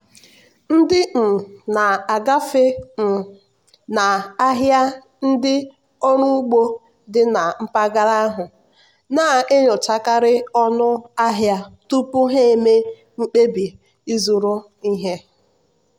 ndị um na-agafe um n'ahịa ndị ọrụ ugbo dị na mpaghara ahụ na-enyochakarị ọnụ ahịa tupu ha eme mkpebi ịzụrụ ihe.